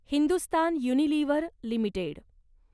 Hindustan Unilever limited